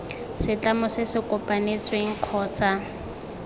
setlamo se se kopanetsweng kgotsa